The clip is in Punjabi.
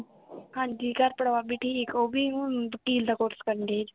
ਹਾਂਜੀ, ਘਰ ਪਰਿਵਾਰ ਵੀ ਠੀਕ, ਉਹ ਵੀ ਹੁਣ ਵਕੀਲ ਦਾ ਕੋਰਸ ਕਰਣ ਡੇ ਜੇ